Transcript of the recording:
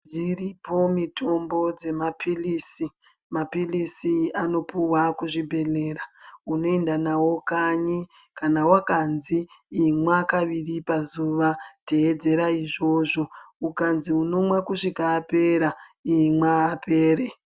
Dziripo mitombo dzemapilisi mapilisi anopuwa kuzvibhehleya unoenda nawo kanyi kana wakanzi imwa kaviri pazuva tevedzera izvozvo ukanzi unomwa kusvika apera imwa apere.